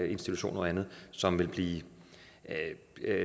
institutioner og andet som ville blive